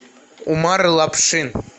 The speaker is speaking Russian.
умар лапшин